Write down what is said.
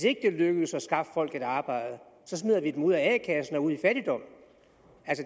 ikke lykkes at skaffe folk et arbejde smider vi dem ud af a kassen og i fattigdom